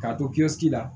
K'a to kiisi la